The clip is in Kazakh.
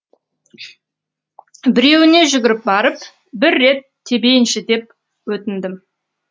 біреуіне жүгіріп барып бір рет тебейінші деп өтіндім